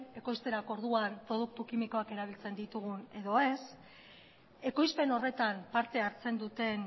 ekoizterako orduan produktu kimikoak erabiltzen ditugun edo ez ekoizpen horretan parte hartzen duten